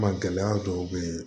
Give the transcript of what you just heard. Ma gɛlɛya dɔw be ye